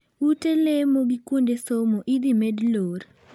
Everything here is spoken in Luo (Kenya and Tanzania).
Ute lemo gi kuonde somo idhi med lor.